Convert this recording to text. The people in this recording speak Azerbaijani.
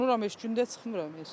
Qorunuram heç gündə çıxmıram heç.